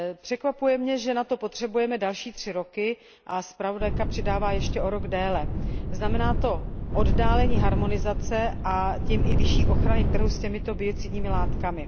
Překvapuje mě, že na to potřebujeme další tři roky, a zpravodajka přidává ještě o rok déle. Znamená to oddálení harmonizace a tím i vyšší ochrany trhu s těmito biocidními látkami.